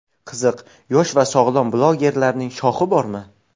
Qiziq, yosh va sog‘lom blogerlarning shoxi bormi?